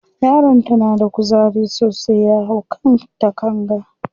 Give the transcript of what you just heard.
Yaron ta na da kuzari sosai, ya hau kan takanga.